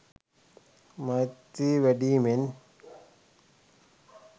මෛත්‍රිය වැඩීමෙන්